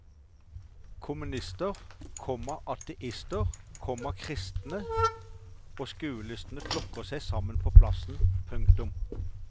Kommunister, komma ateister, komma kristne og skuelystne flokket seg sammen på plassen. punktum